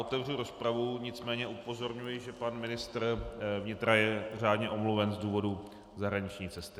Otevřu rozpravu, nicméně upozorňuji, že pan ministr vnitra je řádně omluven z důvodu zahraniční cesty.